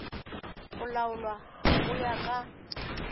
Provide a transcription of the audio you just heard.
go laolwa go ya ka